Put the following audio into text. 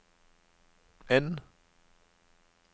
N